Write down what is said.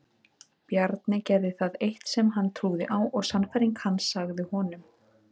Bjarni gerði það eitt sem hann trúði á og sannfæring hans sagði honum.